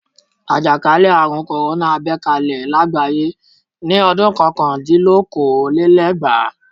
Àjàkálẹ̀ àrùn kòrónà bẹ́ kalẹ̀ lágbàáyé ní ọdún kọkàndínlókòólélẹ́gbàá.